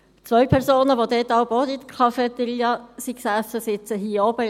Zwei Personen, die damals auch in der Cafeteria sassen, sitzen heute auf der Zuschauertribüne.